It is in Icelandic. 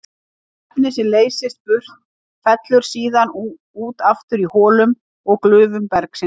Efnið sem leysist burt fellur síðan út aftur í holum og glufum bergsins.